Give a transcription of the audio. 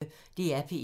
DR P1